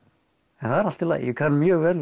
en það er allt í lagi ég kann mjög vel við